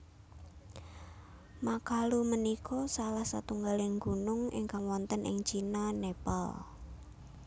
Makalu punika salah satunggaling gunung ingkang wonten ing Cina Nepal